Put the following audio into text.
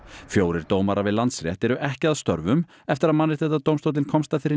fjórir dómarar við Landsrétt eru ekki að störfum eftir að Mannréttindadómstóllinn komst að þeirri